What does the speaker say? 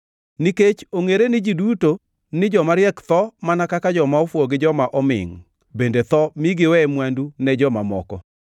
Nikech ongʼere ne ji duto ni joma riek tho, mana kaka joma ofuwo gi joma omingʼ, bende tho mi giwe mwandu ne joma moko.